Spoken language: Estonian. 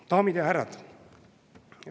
Daamid ja härrad!